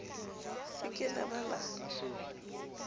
se ke la ba la